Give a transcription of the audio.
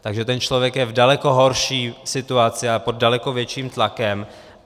Takže ten člověk je v daleko horší situaci a pod daleko větším tlakem.